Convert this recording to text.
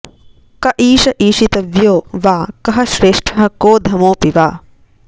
क ईश ईशितव्यो वा कः श्रेष्ठः कोऽधमोऽपि वा